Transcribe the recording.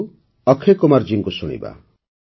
ଆସନ୍ତୁ ଏବେ ଅକ୍ଷୟ କୁମାର ଜୀଙ୍କୁ ଶୁଣିବା